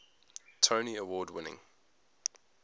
tony award winning